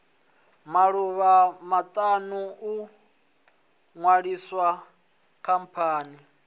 maḓuvha maṱanu u ṅwalisa khamphani